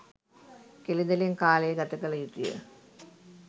කෙළි දෙළෙන් කාලය ගත කළ යුතුය.